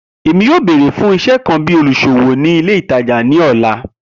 Emi yoo beere fun iṣẹ kan bi oluṣowo ni ile itaja ni ọla.